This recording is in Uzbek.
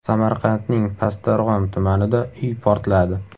Samarqandning Pastdarg‘om tumanida uy portladi.